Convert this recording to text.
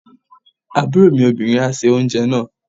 Àbúrò mi obìnrin á se oúnjẹ náà.